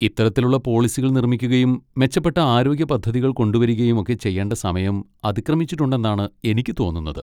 ഇത്തരത്തിലുള്ള പോളിസികൾ നിർമ്മിക്കുകയും മെച്ചപ്പെട്ട ആരോഗ്യ പദ്ധതികൾ കൊണ്ടുവരികയും ഒക്കെ ചെയ്യേണ്ട സമയം അതിക്രമിച്ചിട്ടുണ്ടെന്നാണ് എനിക്ക് തോന്നുന്നത്.